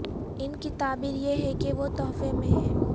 ان کی تعبیر یہ ہے کہ وہ تحفے میں ہیں